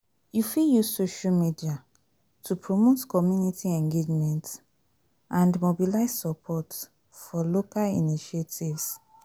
You fit use social media to promote community engagement and mobilize support for local initiatives.